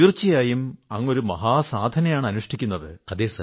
തീർച്ചയായും അങ്ങ് സാധനയാണ് അനുഷ്ഠിക്കുന്നത്